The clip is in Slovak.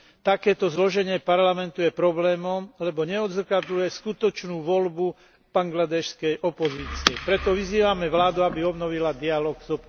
Takéto zloženie Parlamentu je problémom, lebo neodzrkadľuje skutočnú voľbu bangladéšskej opozície. Preto vyzývame vládu, aby obnovila dialóg s